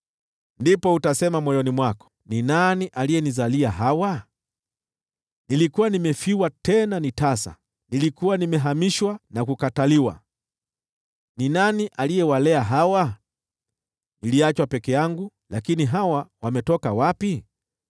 Ndipo utasema moyoni mwako, ‘Ni nani aliyenizalia hawa? Nilikuwa nimefiwa, tena tasa; nilikuwa nimehamishwa na kukataliwa. Ni nani aliyewalea hawa? Niliachwa peke yangu, lakini hawa wametoka wapi?’ ”